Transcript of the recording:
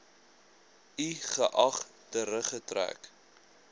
i geag teruggetrek